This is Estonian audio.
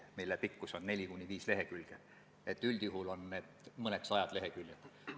Me komisjonis tõesti uurisime, kas kooskõlastusringil on tulnud Sotsiaalministeeriumilt tagasiside.